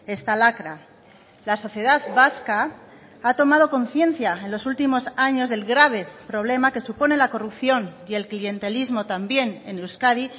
esta lacra la sociedad vasca ha tomado conciencia en los últimos años del grave problema que supone la corrupción y el clientelismo también en euskadi